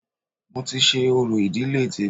Mo ti ṣe orò ìdílé tèmi